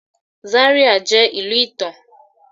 Zaria jẹ ilu itan